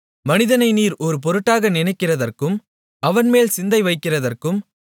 மனிதனை நீர் ஒரு பொருட்டாக நினைக்கிறதற்கும் அவன்மேல் சிந்தை வைக்கிறதற்கும்